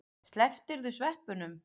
Slepptirðu sveppunum?